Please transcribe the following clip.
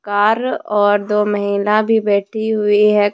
Car और दो महिला भी बैठी हुई है।